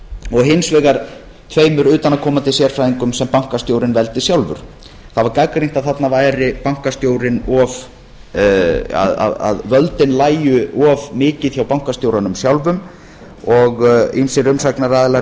og hins vegar af tveimur utanaðkomandi sérfræðingum sem bankastjórinn veldi sjálfur það var gagnrýnt að völdin lægju of mikið hjá bankastjóranum sjálfum og ýmsir umsagnaraðilar